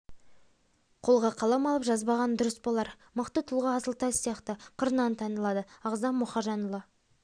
қолға қалам алып жазбағаны дұрыс болар мықты тұлға асыл тас сияқты қырынан танылады ағзам мұхажанұлы